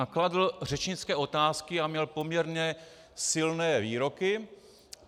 A kladl řečnické otázky a měl poměrně silné výroky.